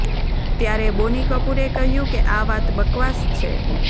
ત્યારે બોની કપૂરે કહ્યું કે આ વાત બકવાસ છે